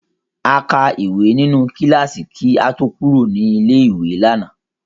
A kàwé nínú kíláàsì kí a tó kúrò ní ilé-ìwé lánàá.